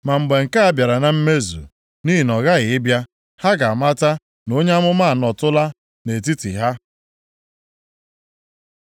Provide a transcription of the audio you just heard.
“Ma mgbe nke a bịara na mmezu, nʼihi ọ ghaghị ịbịa, ha ga-amata na onye amụma anọtụla nʼetiti ha.”